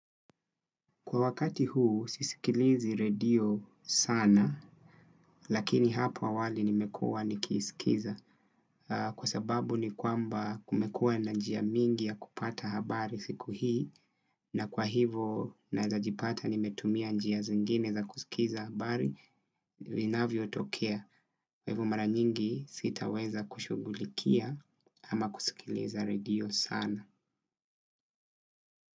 Kwa wakati huu sisikilizi radio sana lakini hapo awali nimekuwa nikiiskiza. Kwa sababu ni kwamba kumekuwa na njia mingi ya kupata habari siku hii. Na kwa hivo naweza jipata nimetumia njia zingine za kusikiza habari vinavyo tokea kwa hivo mara nyingi sitaweza kushughulikia ama kusikiliza radio sana.